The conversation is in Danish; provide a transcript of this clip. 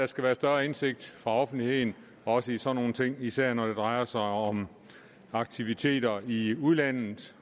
skal være større indsigt for offentligheden også i sådan nogle ting især når det drejer sig om aktiviteter i udlandet